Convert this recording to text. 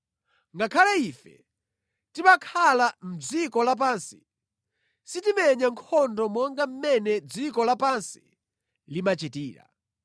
Ngakhale ife timakhala mʼdziko lapansi, sitimenya nkhondo monga mmene dziko lapansi limachitira.